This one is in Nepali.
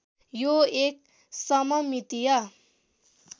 यो एक सममितीय